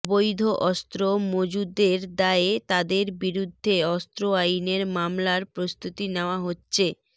অবৈধ অস্ত্র মজুদের দায়ে তাদের বিরুদ্ধে অস্ত্র আইনে মামলার প্রস্তুতি নেওয়া হচ্ছে